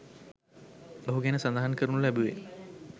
ඔහු ගැන සඳහන් කරනු ලැබුවේ